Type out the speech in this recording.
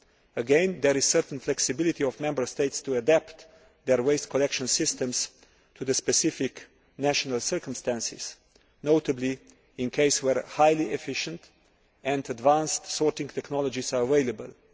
Again there is certain flexibility for Member States to adapt their waste collection systems to the specific national circumstances, notably in cases where highly efficient and advanced sorting technologies are available.